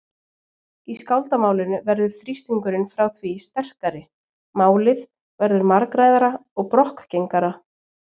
Í skáldamálinu verður þrýstingurinn frá því sterkari, málið verður margræðara og brokkgengara.